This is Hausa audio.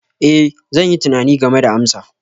Ee, zan yi tunani game da amsa.